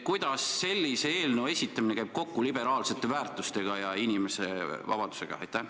Kuidas sellise eelnõu esitamine käib kokku liberaalsete väärtustega ja inimese vabadusega?